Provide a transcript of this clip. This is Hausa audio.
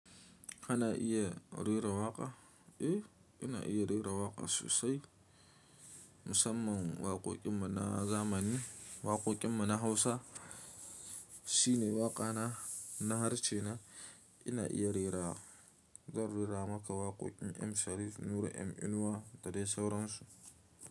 Kana iya rera waƙa? Eh, ina iya rera waƙa sosai. Musamman waƙoƙin mu na zamani, waƙoƙin mu na Hausa. Shi ne waƙana. Na harshe na. Ina iya rera, zan rera maka waƙoƙin M Sharif, Nura M Inuwa da dai sauransu.